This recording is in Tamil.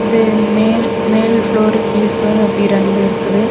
இது மேல் மேல் ஃப்ளோரு கீழ் ஃப்ளோரு அப்டி ரெண்டு இருக்குது.